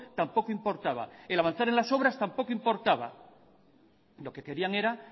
tampoco importaba el avanzar en las obras tampoco importaba lo que querían era